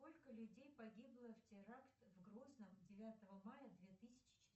сколько людей погибло в теракт в грозном девятого мая две тысячи